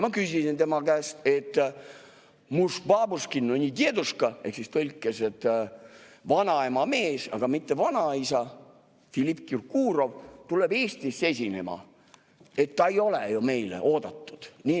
Ma küsisin tema käest, et muž babuški no ne deduška ehk tõlkes "vanaema mees, aga mitte vanaisa", Filipp Kirkorov tuleb Eestisse esinema – ta ei ole ju meile oodatud.